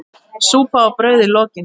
Súpa og brauð í lokin.